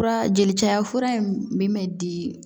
Fura jeli caya fura in min bɛ di